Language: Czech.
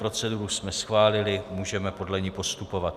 Proceduru jsme schválili, můžeme podle ní postupovat.